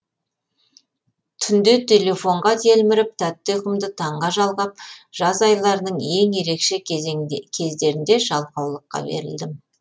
түнде телефонға телміріп тәтті ұйқымды таңға жалғап жаз айларының ең ерекше кездерінде жалқаулыққа берілдім